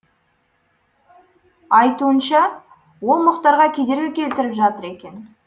айтуынша ол мұхтарға кедергі келтіріп жатыр екен